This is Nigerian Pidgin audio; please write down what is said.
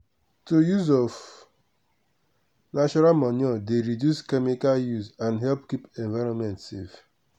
to use of natural manure dey reduce chemical use and help keep environment safe.